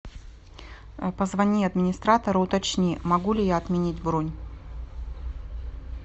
позвони администратору уточни могу ли я отменить бронь